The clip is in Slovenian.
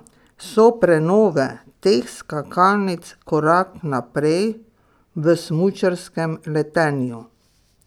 So prenove teh skakalnic korak naprej v smučarskem letenju?